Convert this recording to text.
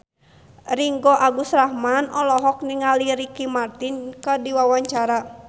Ringgo Agus Rahman olohok ningali Ricky Martin keur diwawancara